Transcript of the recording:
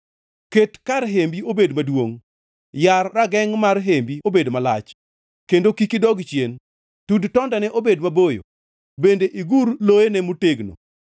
Ket kar hembi obed maduongʼ, yar ragengʼ mar hembi obed malach, kendo kik idog chien; tud tondene obed maboyo bende igur loyene motegno.